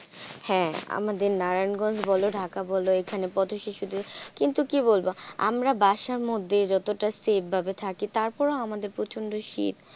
হ্যাঁ আমাদের নারায়ণগঞ্জ বলো ঢাকা বলো। এখানে পথ শিশুদের কিন্তু কি বলবো আমরা বাসার মধ্যে যতটা safe ভাবে থাকি তারপরও আমাদের প্রচন্ড শীত,